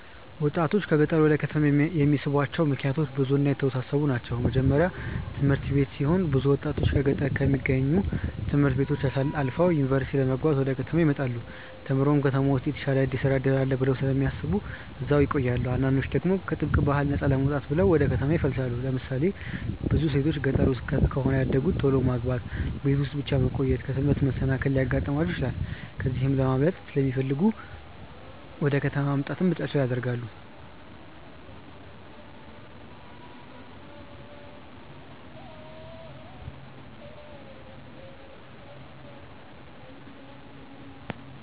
ወጣቶችን ከገጠር ወደ ከተማ የሚስቧቸው ምክንያቶች ብዙ እና የተወሳሰቡ ናቸው። የመጀመርያው ትምህርት ሲሆን ብዙ ወጣቶች በገጠር ከሚገኙ ት/ቤቶች አልፈው ዩኒቨርሲቲ ለመግባት ወደ ከተማ ይመጣሉ። ተምረውም ከተማ ውስጥ የተሻለ የስራ እድል አለ ብለው ስለሚያስቡ እዛው ይቆያሉ። አንዳንዶች ደግሞ ከጥብቅ ባህል ነፃ ለመውጣት ብለው ወደ ከተማ ይፈልሳሉ። ለምሳሌ ብዙ ሴቶች ገጠር ውስጥ ከሆነ ያደጉት ቶሎ ማግባት፣ ቤት ውስጥ ብቻ መቆየት፣ ከትምህርት መሰናከል ሊያጋጥማቸው ይችላል። ከዚህ ለማምለጥ ሲለሚፈልጉ ወደ ከተማ መምጣትን ምርጫቸው ያደርጋሉ።